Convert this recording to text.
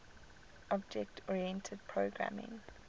object oriented programming